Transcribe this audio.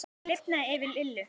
Það lifnaði yfir Lillu.